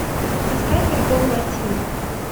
поставь альбом латина